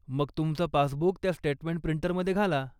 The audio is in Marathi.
मग तुमचं पासबुक त्या स्टेटमेंट प्रिंटरमध्ये घाला.